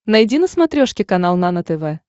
найди на смотрешке канал нано тв